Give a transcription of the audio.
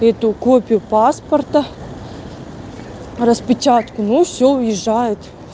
копию копию паспорта распечатку ну всё уезжает